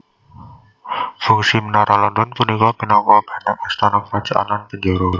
Fungsi Menara London punika minangka bèntèng astana kerajaan lan penjara